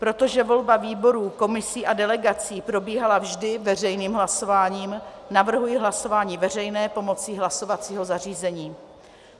Protože volba výborů, komisí a delegací probíhala vždy veřejným hlasováním, navrhuji hlasování veřejné pomocí hlasovacího zařízení.